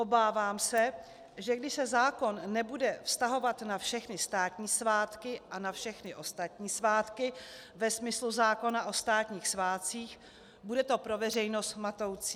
Obávám se, že když se zákon nebude vztahovat na všechny státní svátky a na všechny ostatní svátky ve smyslu zákona o státních svátcích, bude to pro veřejnost matoucí.